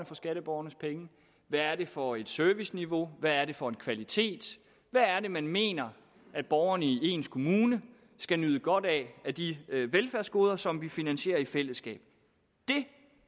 for skatteborgernes penge hvad er det for et serviceniveau hvad er det for en kvalitet hvad er det man mener at borgerne i ens kommune skal nyde godt af af de velfærdsgoder som vi finansierer i fællesskab det